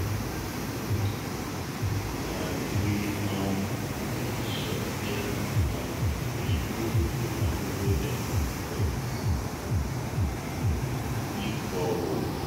we um make sure sey um we use di money wey dem give use dig borehole.